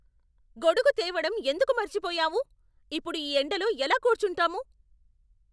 గొడుగు తేవడం ఎందుకు మర్చిపోయావు? ఇప్పుడు ఈ ఎండలో ఎలా కూర్చుంటాము?